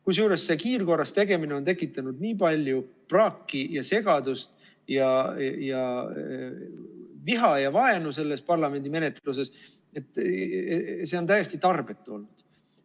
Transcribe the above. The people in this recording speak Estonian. Kusjuures see kiirkorras tegemine on tekitanud nii palju praaki ja segadust ja viha ja vaenu selles parlamendi menetluses, et see on täiesti tarbetu olnud.